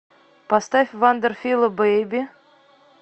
поставь вандер фила бэйби